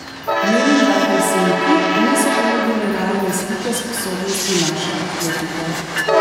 Menim, da Helsinki niso ponudili realne slike sposobnosti naše atletike.